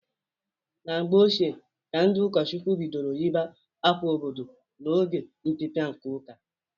Na mgbe ochie ka ndị ụkọchukwu bidoro yiba akwa ododo na oge ọpịpịa nke ụka.